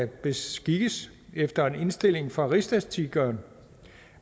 beskikkes efter indstilling fra rigsstatistikeren